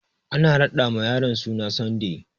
Ana raɗa ma yaron suna Sunday